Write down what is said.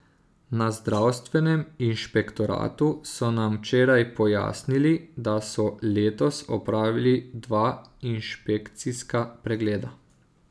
Na zdravstvenem inšpektoratu so nam včeraj pojasnili, da so letos opravili dva inšpekcijska pregleda.